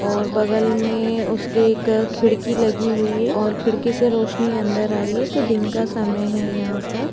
और बगल मे उसके एक खिड़की लगी हुई है और खिड़की से रोशनी अंदर आ रही है तो दिन का समय है यहाँं पर।